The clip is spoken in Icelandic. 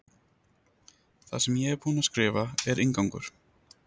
Það sem ég er búin að skrifa er inngangur.